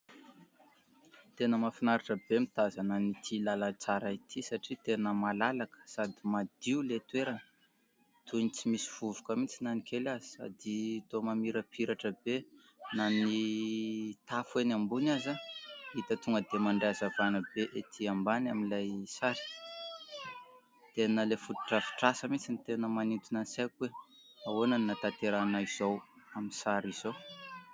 Tena mahafinaritra be mitazana n'ity lalatsara ity satria tena malalaka sady madio le toerana toy ny tsy misy vovoka mitsy na ny kely aza, sady tao mamirapiratra be na ny tafo eny ambony aza hita tonga dia mandray azavana be etỳ ambany amin'ilay sary dia ilay foto-drafitr'asa mihintsy ny tena manintona ny nisaiko hoe ahoana ny natanterana izao amin'ny sary izao.